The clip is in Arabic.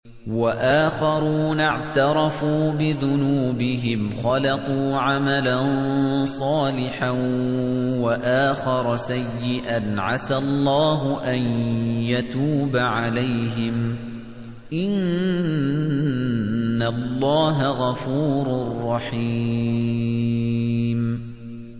وَآخَرُونَ اعْتَرَفُوا بِذُنُوبِهِمْ خَلَطُوا عَمَلًا صَالِحًا وَآخَرَ سَيِّئًا عَسَى اللَّهُ أَن يَتُوبَ عَلَيْهِمْ ۚ إِنَّ اللَّهَ غَفُورٌ رَّحِيمٌ